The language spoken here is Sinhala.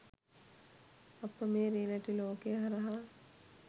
අප මේ රියැලිටි ලෝකය හරහා